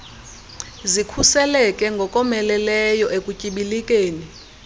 zikhuseleke ngokomeleleyo ekutyibilikeni